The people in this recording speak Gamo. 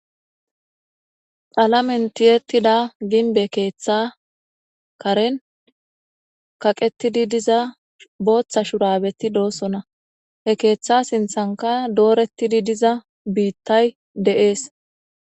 xalamen tiyetida ginbe keeththa karen kaqetidi diza booththa shurabeti doossona he keeththa sinthanka dooretidi diza biittay de7ees